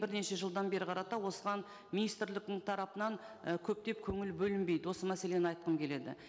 бірнеше жылдан бері қарата осыған министрліктің тарапынан і көптеп көңіл бөлінбейді осы мәселені айтқым келеді